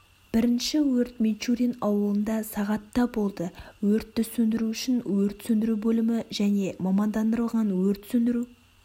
бірінші өрт мичурин ауылында сағатта болды өртті сөндіру үшін өрт сөндіру бөлімі және мамандандырылған өрт сөндіру